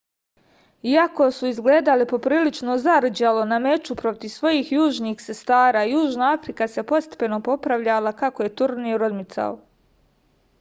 iako su izgledale poprilično zarđalo na meču protiv svojih južnih sestara južna afrika se postepeno popravljala kako je turnir odmicao